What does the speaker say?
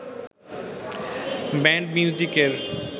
band মিউজিকের